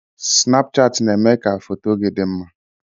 Snapụchatị na-eme ka foto gị dị mma.